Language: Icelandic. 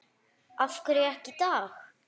Af hverju ekki í dag?